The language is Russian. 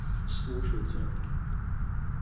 слушайте